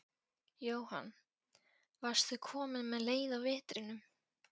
Jóhann: Varstu komin með leið á vetrinum?